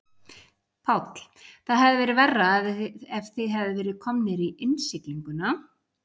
Páll: Það hefði verið verra ef þið hefðuð verið komnir í innsiglinguna?